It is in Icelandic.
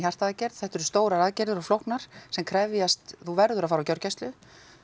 aðgerð þetta eru stórar aðgerðir og flóknar sem krefjast þú verður að fara á gjörgæslu